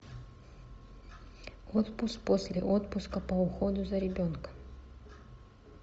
отпуск после отпуска по уходу за ребенком